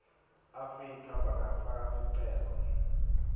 afrika bangafaka sicelo